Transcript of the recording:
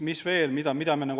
Mis veel?